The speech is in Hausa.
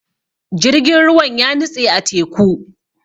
Jirgin ruwan ya nitse a teku.